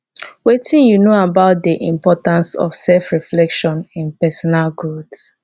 wetin you know about di importance of selfreflection in personal growth